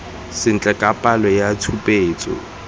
sentle ka palo ya tshupetso